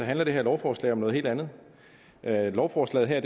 handler det her lovforslag om noget helt andet lovforslaget her